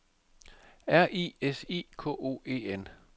R I S I K O E N